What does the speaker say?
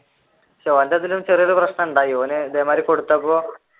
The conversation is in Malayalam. ഓന്റെ അതിൽ ചെറിയ ഒരു പ്രശ്നമുണ്ടായി ഓൻ ഇതേമാതിരി കൊടുത്തപ്പോൾ